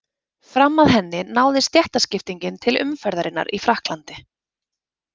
Fram að henni náði stéttaskiptingin til umferðarinnar í Frakklandi.